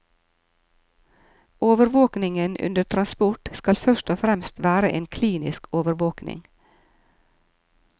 Overvåkningen under transport skal først og fremst være en klinisk overvåkning.